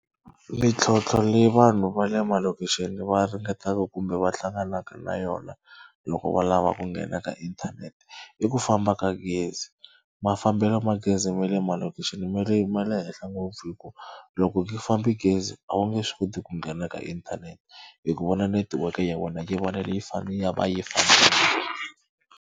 Mintlhontlho leyi vanhu va le malokixini va ringetaka kumbe va hlanganaka na yona loko va lava ku nghena ka inthanete i ku famba ka gezi. Mafambelo ma gezi ma le malokixini mi ri ma le henhla ngopfu hi ku loko ku fambe gezi a wu nge swi koti ku nghena ka inthanete hi ku vona network ya wena .